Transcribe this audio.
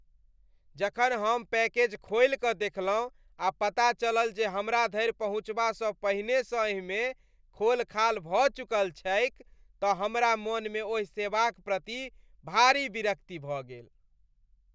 जखन हम पैकेज खोलि कऽ देखलहुँ आ पता चलल जे हमरा धरि पहुँचबासँ पहिनेसँ एहिमे खोलखाल भऽ चुकल छैक तँ हमरा मनमे ओहि सेवाक प्रति भारी विरक्ति भऽ गेल।